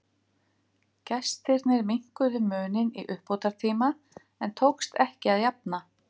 Gestirnir minnkuðu muninn í uppbótartíma en tókst ekki að jafna.